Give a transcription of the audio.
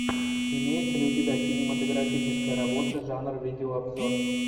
имеется ли у тебя кинематографическая работа жанр видеообзор